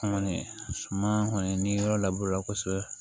An kɔni suma kɔni ni yɔrɔ laburela kosɛbɛ